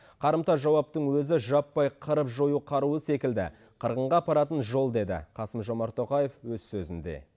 қарымта жауаптың өзі жаппай қырып жою қаруы секілді қырғынға апаратын жол деді қасым жомарт тоқаев өз сөзінде